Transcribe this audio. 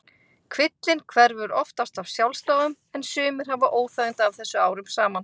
Kvillinn hverfur oftast af sjálfsdáðum en sumir hafa óþægindi af þessu árum saman.